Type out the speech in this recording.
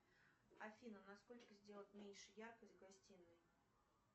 афина на сколько сделать меньше яркость в гостинной